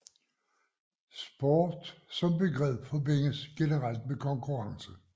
Sport som begreb forbindes generelt med konkurrence